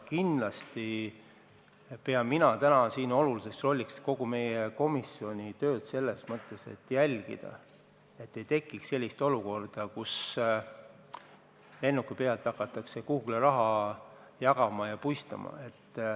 Kindlasti pean mina väga oluliseks kogu meie komisjoni tööd selles mõttes, et tuleb jälgida, et ei tekiks sellist olukorda, kus lennuki pealt hakatakse kuhugi raha puistama.